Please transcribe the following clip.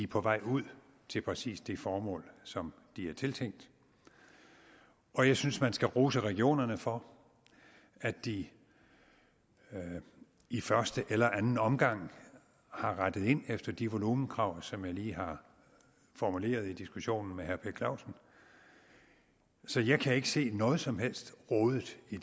på vej ud til præcis det formål som de er tiltænkt og jeg synes man skal rose regionerne for at de i første eller anden omgang har rettet ind efter de volumenkrav som jeg lige har formuleret i diskussionen med herre per clausen så jeg kan ikke se noget som helst rodet i